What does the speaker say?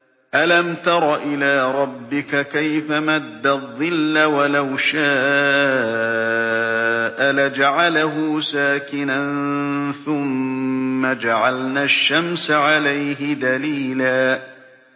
أَلَمْ تَرَ إِلَىٰ رَبِّكَ كَيْفَ مَدَّ الظِّلَّ وَلَوْ شَاءَ لَجَعَلَهُ سَاكِنًا ثُمَّ جَعَلْنَا الشَّمْسَ عَلَيْهِ دَلِيلًا